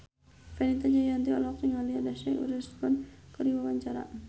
Fenita Jayanti olohok ningali Reese Witherspoon keur diwawancara